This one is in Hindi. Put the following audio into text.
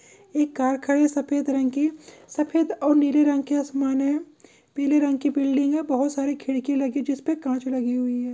एक कार खड़ी सफेद रंग की सफेद और नीले रंग के आसमान है पीले रंग की बिल्डिंग हैबहोत सारी खिड़की लगी जिस पर कांच लगी हुई है।